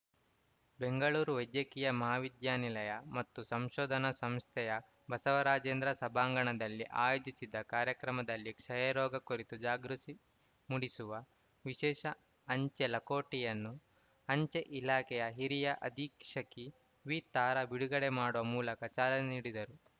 ಬೆಂಗಳೂರು ವೈದ್ಯಕೀಯ ಮಹಾವಿದ್ಯಾನಿಲಯ ಮತ್ತು ಸಂಶೋಧನಾ ಸಂಸ್ಥೆಯ ಬಸವರಾಜೇಂದ್ರ ಸಭಾಂಗಣದಲ್ಲಿ ಆಯೋಜಿಸಿದ್ದ ಕಾರ್ಯಕ್ರಮದಲ್ಲಿ ಕ್ಷಯ ರೋಗ ಕುರಿತು ಜಾಗೃತಿ ಮೂಡಿಸುವ ವಿಶೇಷ ಅಂಚೆ ಲಕೊಟೆಯನ್ನು ಅಂಚೆ ಇಲಾಖೆಯ ಹಿರಿಯ ಅಧೀಕ್ಷಕಿ ವಿತಾರಾ ಬಿಡುಗಡೆ ಮಾಡುವ ಮೂಲಕ ಚಾಲನೆ ನೀಡಿದರು